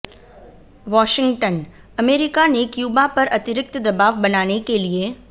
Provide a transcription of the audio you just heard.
Washington America ने Cuba पर अतिरिक्त दबाव बनाने के लिए